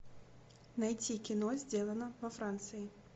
найти кино сделано во франции